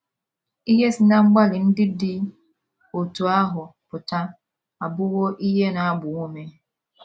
Ihe si ná mgbalị ndị dị otú ahụ pụta abụwo ihe na - agba ume.